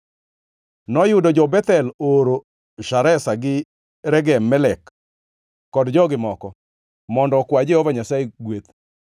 Noyudo jo-Bethel ooro Shareza gi Regem-Melek, kod jogi moko, mondo okwa Jehova Nyasaye gweth,